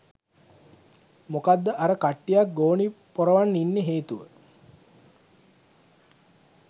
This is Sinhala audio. මොකද්ද අර කට්ටියක් ගෝනි පොරවන් ඉන්න හේතුව